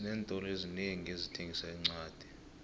xinentolo ezinengi ezithengisa iincwadi